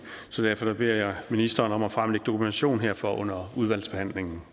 så derfor vil jeg ministeren om at fremlægge dokumentation herfor under udvalgsbehandlingen